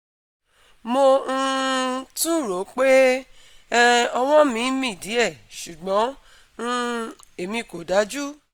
Mo um tún ń ròó pé um ọwọ́ mi ń mì díẹ̀, ṣùgbọ́n um èmi kò dájú